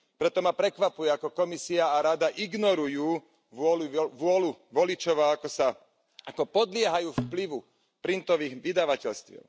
Preto ma prekvapuje, ako Komisia a Rada ignorujú vôľu voličov a ako podliehajú vplyvu printových vydavateľstiev.